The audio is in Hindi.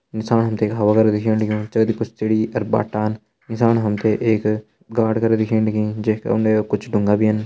नीसाण हम तें हवा कर दिखेण लग्युं जगदी कुछ सीढ़ी अर बट्टान नीसाण हम तें एक गाड करा दिखेण लगीं जै का उंडे कुछ ढुंगा भी एन।